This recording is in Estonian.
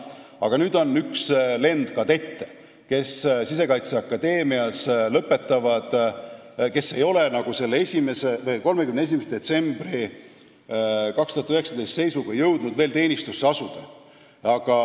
Aga on üks lend kadette, kes lõpetavad Sisekaitseakadeemia ja kes ei ole 31. detsembri 2019. aasta seisuga jõudnud veel teenistusse asuda.